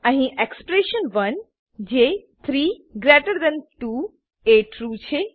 અહી એક્સપ્રેશન1 જે 32 એ ટ્રૂ છે